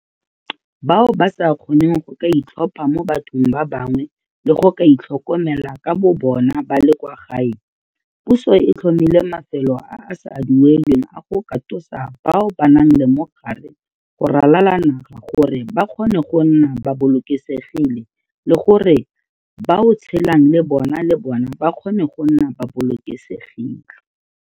Bao ba sa kgoneng go ka itlhopha mo bathong ba bangwe le go ka itlhokomela ka bobona ba le kwa gae, puso e tlhomile mafelo a a sa duelelweng a go katosa bao ba nang le mogare go ralala le naga gore ba kgone go nna ba bolokesegile le gore ba o tshelang le bona le bona ba kgone go nna ba bolokesegile.